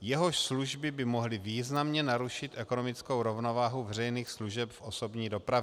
jehož služby by mohly významně narušit ekonomickou rovnováhu veřejných služeb v osobní dopravě.